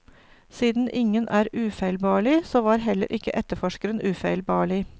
Siden ingen er ufeilbarlig, så var heller ikke etterforskeren ufeilbarlig.